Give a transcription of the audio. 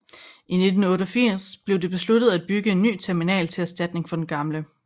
I 1988 blev det besluttet af bygge en ny terminal til erstatning for den gamle